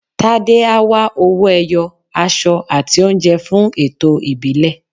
Tádé á wá owó-ẹyọ, aṣọ àti oúnjẹ fún ẹ̀tọ́ ìbílẹ̀.